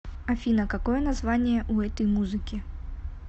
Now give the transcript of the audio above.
афина какое название у этой музыки